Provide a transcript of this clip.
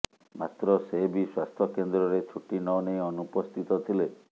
ମାତ୍ର ସେ ବି ସ୍ବାସ୍ଥ୍ୟକେନ୍ଦ୍ରରେ ଛୁଟି ନ ନେଇ ଅନୁପସ୍ଥିତ ଥିଲେ